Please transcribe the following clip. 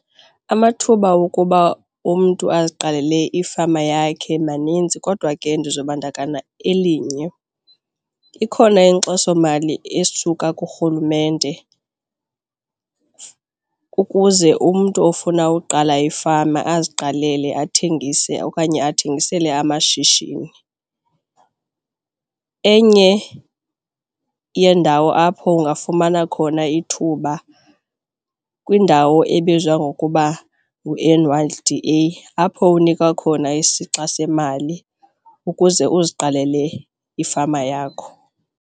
Amathuba wokuba umntu aziqalele ifama yakhe maninzi kodwa ke ndizobandakanya elinye. Ikhona inkxasomali esuka kurhulumente ukuze umntu ofuna uqala ifama aziqalele athengise okanye athengisele amashishini. Enye yeendawo apho ungafumana khona ithuba kwiindawo ebizwa ngokuba ngu-N_Y_D_A apho unikwa khona isixa semali ukuze uziqalele ifama yakho.